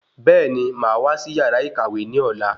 Bẹẹni, máa wá sí yàrá ìkàwé ní ọ̀la